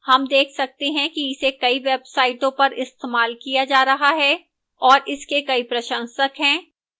हम देख सकते हैं कि इसे कई websites पर इस्तेमाल किया जा रहा है और इसके कई प्रशंसक हैं